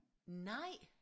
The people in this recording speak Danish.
Nej